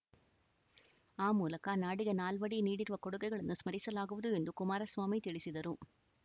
ಆ ಮೂಲಕ ನಾಡಿಗೆ ನಾಲ್ವಡಿ ನೀಡಿರುವ ಕೊಡುಗೆಗಳನ್ನು ಸ್ಮರಿಸಲಾಗುವುದು ಎಂದು ಕುಮಾರಸ್ವಾಮಿ ತಿಳಿಸಿದರು